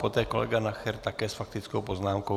Poté kolega Nacher, také s faktickou poznámkou.